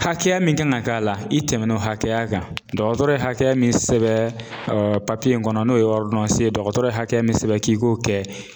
Hakɛya min kan ka k'a la i tɛmɛna o hakɛya kan .Dɔgɔtɔrɔ ye hakɛya min sɛbɛn papiye in kɔnɔ n'o ye ye dɔgɔtɔrɔ hakɛ min sɛbɛn k'i k'o kɛ.